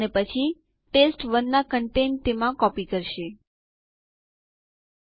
keyboard પર Ctrl Alt અને T કળો એક સાથે દબાવી ટર્મિનલ ખોલો